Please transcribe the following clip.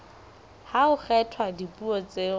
ha ho kgethwa dipuo tseo